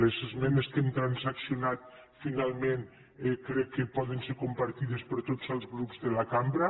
les esmenes que hem transaccionat finalment crec que poden ser compartides per tots els grups de la cambra